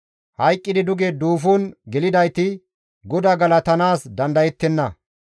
Hayqqidi duge duufon gelidayti GODAA galatanaas dandayettenna.